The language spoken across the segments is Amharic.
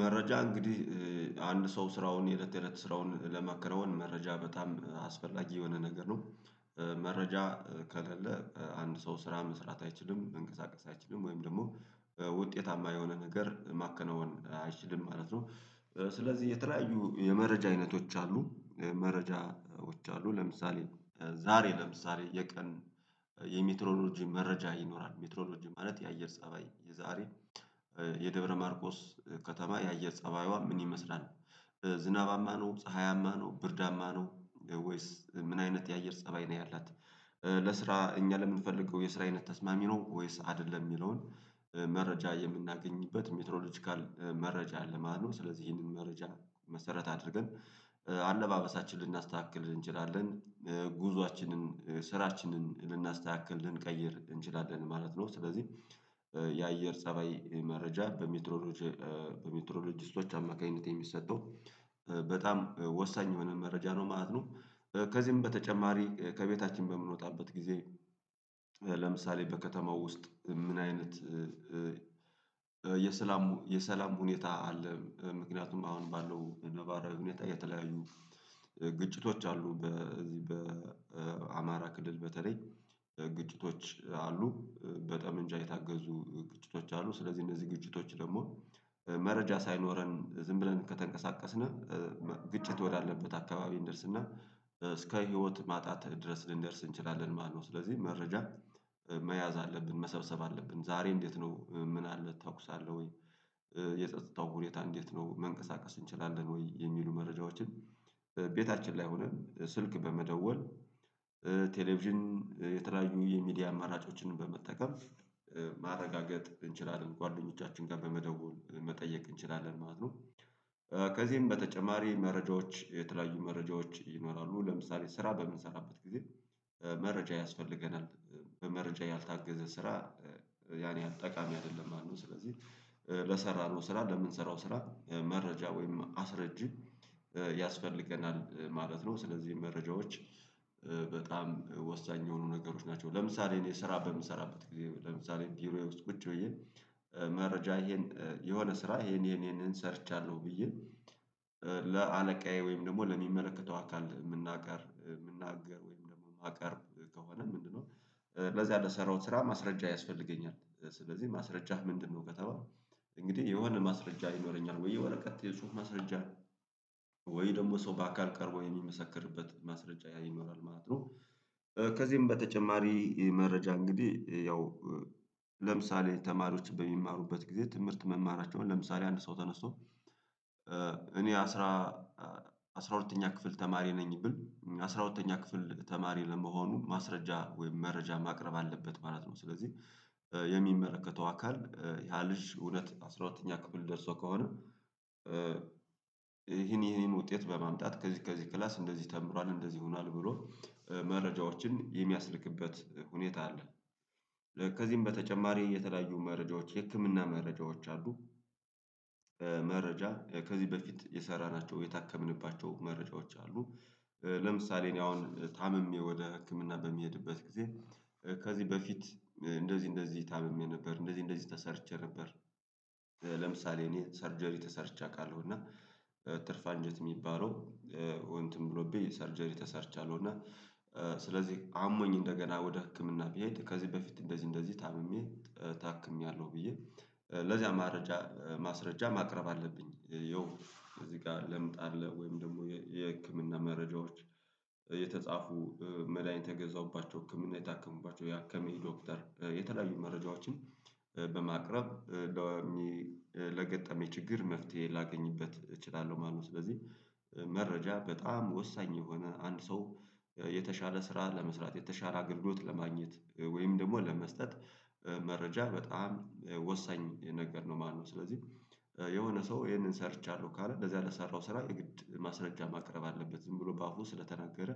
መረጃ እንግዲህ አንድ ሰው ስራውን የእለት ተዒለት ስራውን ለማከናወን መረጃ በጣም አስፈላጊ የሆነ ነገር ነው። መረጃ ከሌለ አንድ ሰው ስራ መስራት አይችልም፣ መንቀሳቀስ አይችልም ወይም ደግሞ ውጤታማ የሆነ ነገር ማከናወን አይችልም ማለት ነው። ስለዚህ የተለያዩ የመረጃ አይነቶች አሉ። መረጃዎች አሉ። ለምሳሌ ዛሬ ለምሳሌ የቀን የሚትሮሎጂ መረጃ ይኖራል። ሚትሮሎጂ ማለት የአየር ፀባይ የዛሬ የደብረ ማርቆስ ከተማ የአየር ፀባይዋ ምን ይመስላል? ዝናባማ ነው፣ ፀሀያማ ነው፣ ብርዳማ ነው ወይስ ምን አይነት የአየር ፀባይ ነው ያላት? ለስራ እኛ ለምንፈልገው የስራ አይነት ተስማሚ ነው ወይስ አይደለም? የሚለውን መረጃ የምናገኝበት ሚትሮሎጂካል መረጃ አለ ማለት ነው። ስለዚህ ይህንን መረጃ መሰረት አድርገን አለባበሳችንን ልናስተካክል እንችላለን፣ ጉዞአችንን ስራችንን ልናስተካክል ልንቀይር እንችላለን ማለት ነው ስለዚህ የአየር ፀባይ መረጃ በሜትሮሎጂስቶች አማካኝነት የሚሰጠው በጣም ወሳኝ የሆነ መረጃ ነው ማለት ነው ከዚህም በተጨማሪ ከቤታችን በምንወጣበት ጊዜ ለምሳሌ በከተማው ውስጥ ምን አይነት የሰላም የሰላም ሁኔታ አለ? ምክንያቱም አሁን ባለው ነባራዊ ሁኔታ የተለያዩ ግጭቶች አሉ። በዚህ በአማራ ክልል በተለይ ግጭቶች አሉ። በጠመንጃ የታገዙ ግጭቶች አሉ። ስለዚህ እነዚህ ግጭቶች ደግሞ መረጃ ሳይኖረን ዝም ብለን ከተንቀሳቀስን ግጭት ወዳለበት አካባቢ እንደርስ እና እስከ ህይወት ማጣት ድረስ ልንደርስ እንችላለን ማለት ነው። ስለዚህ መረጃ መያዝ አለብን፣ መሰብሰብ አለብን። ዛሬ እንዴት ነው ምን አለ ተኩስ አለ ወይ? የጸጥታው ሁኔታ እንዴት ነው መንቀሳቀስ እንችላለን ወይ? የሚሉ መረጃዎችን ቤታችን ላይ ሆነን ስልክ በመደወል ቴሌቪዥን የተለያዩ የሚዲያ አማራጮችን በመጠቀም ማረጋገጥ እንችላለን። ጓደኞቻችን ጋር በመደወል መጠየቅ እንችላለን ማለት ነው። ከዚህም በተጨማሪ መረጃዎች የተለያዩ መረጃዎች ይኖራሉ። ለምሳሌ ስራ በምንሰራበት ጊዜ መረጃ ያስፈልገናል። በመረጃ ያልታገዘ ስራ ያን ያህል ጠቃሚ አይደለም ማለት ነው ስለዚህ ለሰራነው ስራ ለምንሰራው ስራ መረጃ ወይም አስረጂ ያስፈልገናል ማለት ነው። ስለዚህ መረጃዎች በጣም ወሳኝ የሆኑ ነገሮች ናቸው። ለምሳሌ እኔ ስራ በምሰራበት ጊዜ ለምሳሌ ቢሮዬ ውስጥ ቁጭ ብዬ መረጃ ይሄን የሆነ ስራ ይሄን ይሄንን ሰርቻለሁ ብዬ ለአለቃዬ ወይም ደግሞ ለሚመለከተው አካል የምናቀር የምናገር ወይም ደግሞ ማቀርብ ከሆነ ምንድነው ለዛ ለሰራሁት ስራ ማስረጃ ያስፈልገኛል ስለዚህ ማስረጃህ ምንድነው? ከተባለ እንግዲህ የሆነ ማስረጃ ይኖረኛል ወይ ወረቀት የጹሑፍ ማስረጃ ወይ ደግሞ ሰው በአካል ቀርቦ የሚመሰክርበት ማስረጃ ይኖራል ማለት ነው። ከዚህም በተጨማሪ መረጃ እንግዲህ ያው ለምሳሌ ተማሪዎች በሚማሩበት ጊዜ ትምህርት መማራቸውን ለምሳሌ አንድ ሰው ተነስቶ እኔ አስራ አስራ ሁለተኛ ክፍል ተማሪ ነኝ ብል አስራ ሁለተኛ ክፍል ተማሪ ለመሆኑ ማስረጃ ወይም መረጃ ማቅረብ አለበት ማለት ነው ስለዚህ የሚመረከተው አካል ያ ልጅ እውነት አስራ ሁለተኛ ክፍል ደርሶ ከሆነ ይሄን ይሄን ውጤት በማምጣት ከዚህ ከዚህ ክላስ እንደዚህ ተብልዋል፣ እንደዚህ ይሆናል ብሎ መረጃዎችን የሚያስልክበት ሁኔታ አለ። ከዚህም በተጨማሪ የተለያዩ መረጃዎች የህክምና መረጃዎች አሉ። መረጃ ከዚህ በፊት የሰራናቸው የታከምንባቸው መረጃዎች አ። ለምሳሌ እኔ አሁን ታምሜ ወደ ህክምና በሚሄድበት ጊዜ ከዚህ በፊት እንደዚህ እንደዚህ ታምሜ ነበር፣ እንደዚህ እንደዚህ ተሰርቼ ነበር፣ ለምሳሌ እኔ ሰርጀሪ ተሰርቼ አውቃለሁ እና ትርፍ አንጀት የሚባለው እንትን ብሎብኝ ሰርጀሪ ተሰርቻለሁ እና ስለዚህ አሞኝ እንደገና ወደ ህክምና ብሄድ ከዚህ በፊት እንደዚህ እንደዚህ ታምሜ ታክሜያለሁ ብዬ ለዚያ ማረጃ ማስረጃ ማቅረብ አለብኝ ይኸው እዚህ ጋር ለምጣ አለ ወይም ደግሞ የህክምና መረጃዎች የተጻፉ መድሃኒት የገዛውባቸው ህክምና የታከሙባቸው፣ የአከመኝ ዶክተር የተለያዩ መረጃዎችን በማቅረብ ለገጠመው ችግር መፍትሄ ላገኝበት እችላለሁ ማለት ነው ስለዚህ መረጃ በጣም ወሳኝ የሆነ አንድ ሰው የተሻለ ስራ ለመስራት፣ የተሻለ አገልግሎት ለማግኘት ወይም ደግሞ ለመስጠት መረጃ በጣም ወሳኝ ነገር ነው ማለት ነው ስለዚህ የሆነ ሰው ይሄንን ሰርቻለሁ ካለ እንደዚህ አላሰራሁም ስራ የግድ ማስረጃ ማቅረብ አለበት ዝም ብሎ በአፉ ስለተናገረ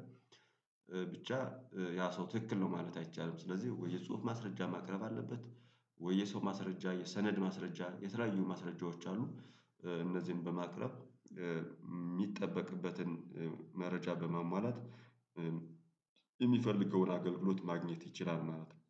ብቻ ያ ሰው ትክክል ነው ማለት አይቻልም። ስለዚህ ወይ የጽሁፍ ማስረጃ ማቅረብ አለበት ወይ የሰው ማስረጃ፣ የሰነድ ማስረጃ የተለያዩ ማስረጃዎች አሉ እነዚህን በማቀረብ የሚጠበቅበትን መረጃ በማሟላት የሚፈልገውን አገልግሎት ማግኘት ይችላል ማለት ነው።